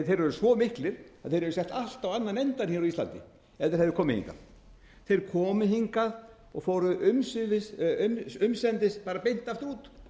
eru svo miklir að þeir hefðu sett allt á annan endann á íslandi ef þeir hefðu komið hingað þeir komu hingað og fóru umsendis beint út